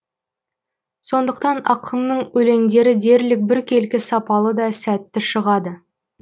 сондықтан ақынның өлеңдері дерлік біркелкі сапалы да сәтті шығады